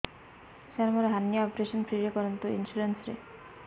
ସାର ମୋର hernia operation free ରେ କରନ୍ତୁ ଇନ୍ସୁରେନ୍ସ ରେ